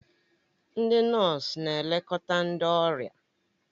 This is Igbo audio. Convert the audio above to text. Ndị nọọsụ na-elekọta ndị ọrịa